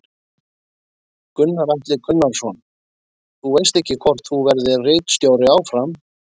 Gunnar Atli Gunnarsson: Þú veist ekki hvort þú verðir ritstjóri áfram?